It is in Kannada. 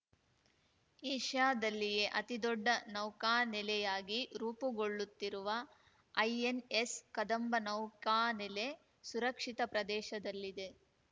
ಏಷ್ಯಾದಲ್ಲಿಯೆ ಅತಿದೊಡ್ಡ ನೌಕಾನೆಲೆಯಾಗಿ ರೂಪುಗೊಳ್ಳುತ್ತಿರುವ ಐಎನ್‌ಎಸ್‌ ಕದಂಬ ನೌಕಾನೆಲೆ ಸುರಕ್ಷಿತ ಪ್ರದೇಶದಲ್ಲಿದೆ